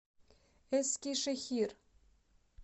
эскишехир